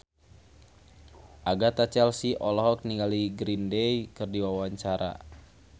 Agatha Chelsea olohok ningali Green Day keur diwawancara